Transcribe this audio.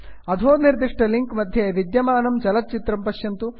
अधो निर्दिष्टे लिंक् मध्ये विद्यमानं चलच्चित्रं पश्यन्तु